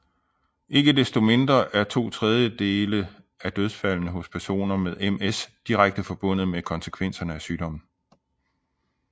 Ikke desto mindre er to tredjedele af dødsfaldene hos personer med MS direkte forbundet med konsekvenserne af sygdommen